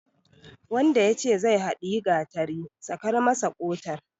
Wanda yace zai haɗiyi gatari, sakar masa har ƙotar.